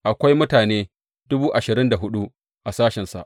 Akwai mutane dubu ashirin da hudu a sashensa.